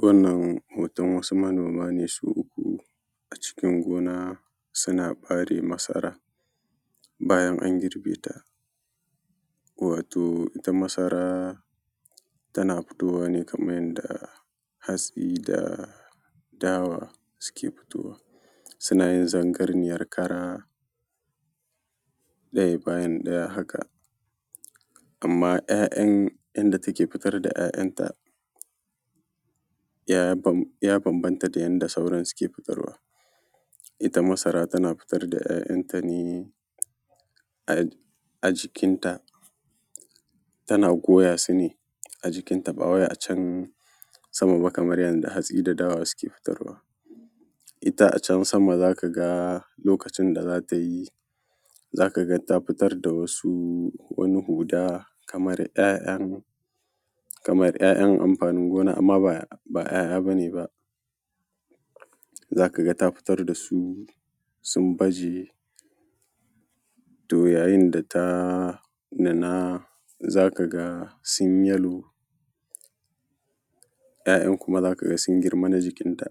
Wannan hoton wasu manoma ne su uku a cikin gona suna ɓare masaran bayan an girbe ta. Wato ita masara tana fitowa kaman yadda hatsi da dawa suke fitowa, suna yin zarganiyar kara ɗaya bayan ɗaya haka, amma inda take fitar da ‘ya’yanta ya bambanta da yadda sauran suke fitarwa. Ita masara tana fitar da ‘ya’yanta ne a jikin ta, tana goyasu ne a jikinta ba wai a can sama ba kaman yadda hatsi da dawa suke fitarwa. Ita a can sama za ka ga lokacin da za ta yi, za ka ga ta fitar da wasu huɗa kamar kaman ‘ya’yan amfanin gona, amma ba ‘ya’ya ba ne ba, za ka ga ta fitar da su sun baje. To yayin da ta nuna za ka ga sun yi yellow ‘ya’yan kuma za ka ga sun girma na jikinta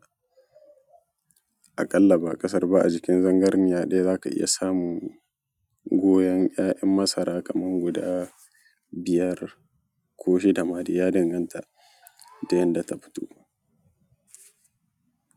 a ƙalla ba akasara ba a jikin zarganiya ɗaya za ka iya samun goyan ‘ya’yan masara kaman guda biyar ko shida ma dai ya danganta da yadda ta fito.